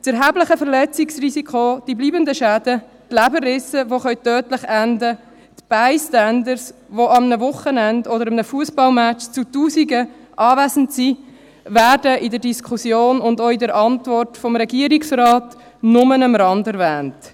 Das erhebliche Verletzungsrisiko, die bleibenden Schäden, die Leberrisse, die tödlich enden können, die Bystander, die an einem Wochenende oder an einem Fussballmatch zu Tausenden anwesend sind, werden in der Diskussion und auch in der Antwort des Regierungsrates nur am Rande erwähnt.